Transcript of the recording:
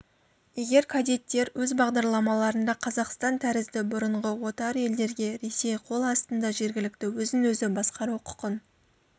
егер кадеттер өз бағдарламаларында қазақстан тәрізді бұрынғы отар елдерге ресей қол астында жергілікті өзін-өзі басқару құқын